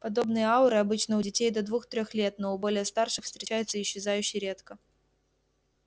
подобные ауры обычны у детей до двух-трех лет но у более старших встречаются исчезающе редко